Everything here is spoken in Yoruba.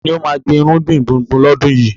Ta ni ó máa gbin irúgbìn gbùngbùn lọ́dún yìí?